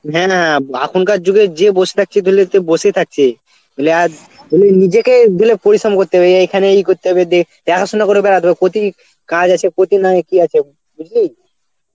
হ্যাঁ হ্যাঁ এখনকার যুগে যে বস থাকছে তালে তো বসেই থাকছে তালে আর তালে নিজেকে দিলে পরিশ্রম করতে হবে এখানে এই করতে হবে দে দেখাশোনা করে বেড়াতে হবে প্রতিটি কাজ আছে কতি নাই কি আছে বুঝলি.